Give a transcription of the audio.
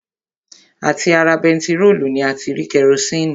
À ti ara bentiróòlù ni a ti rí kerosini